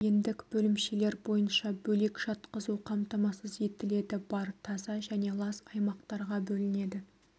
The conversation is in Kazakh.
бейіндік бөлімшелер бойынша бөлек жатқызу қамтамасыз етіледі бар таза және лас аймақтарға бөлінеді